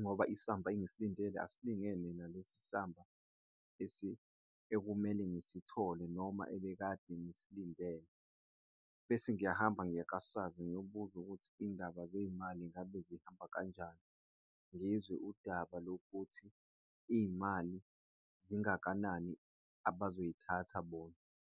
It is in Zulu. ngoba isamba engisilindele asilingene nalesi samba ekumele ngisithole noma ebekade ngisilinde, bese ngiyahamba ngiye ka-SARS ngiyobuza ukuthi izindaba zezimali ngabe zihamba kanjani, ngizwe udaba lokuthi izimali zingakanani abazo zithatha bona.